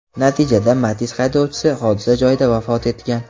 Natijada Matiz haydovchisi hodisa joyida vafot etgan.